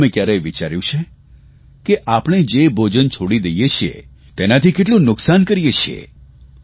તમે કયારેય વિચાર્યું છે કે આપણે જે ભોજન છોડી દઇએ છીએ તેનાથી કેટલું નુકસાન કરીએ છીએ